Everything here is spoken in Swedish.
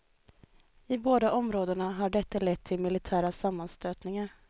I båda områdena har detta lett till militära sammanstötningar.